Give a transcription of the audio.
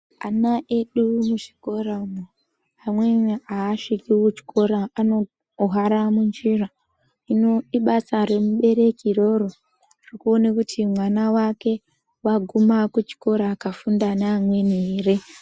Ana edu muzvikora umwo, amweni asviki kuchikora anohwara munjira, hino ibasa remubereki iroro rekuona kuti mwana wake waguma kuchikora akafunda neamweni ere.